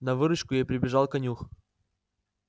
на выручку ей прибежал конюх